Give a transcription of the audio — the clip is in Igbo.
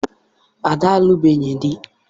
Ada alụbeghị di.